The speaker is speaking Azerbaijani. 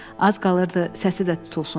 Az qalırdı səsi də tutulsun.